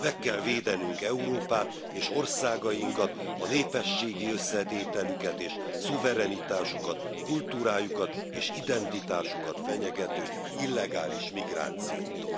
Meg kell védenünk Európát és országainkat, a népességi összetételüket és szuverenitásukat, kultúrájukat és identitásukat fenyegető illegális migrációtól!